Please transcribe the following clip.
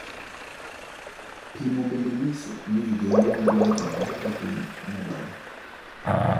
Pimo bende nyiso ni vijende madwani olok kagin medore.